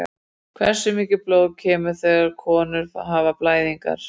Hversu mikið blóð kemur þegar konur hafa blæðingar?